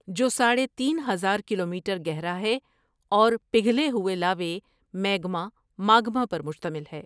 جو ساڑھے تین ہزار کلومیٹر گہرا ہے اور پگھلے ہوئے لاوے میگما ماگما پر مشتمل ہے ۔